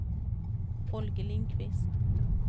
Holger Lindqvist